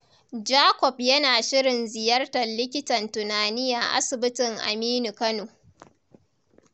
Jacob yana shirin ziyartar likitan tunani a asibitin Aminu Kano.